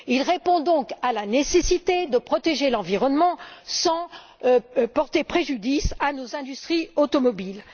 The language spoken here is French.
Il répond donc à la nécessité de protéger l'environnement sans porter préjudice à nos industries automobiles.